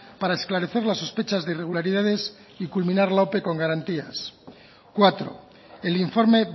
para esclarecer las sospechas de irregularidades y culminar la ope con garantías cuatro el informe